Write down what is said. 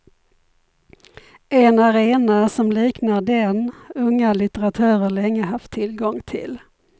En arena som liknar den unga litteratörer länge haft tillgång till.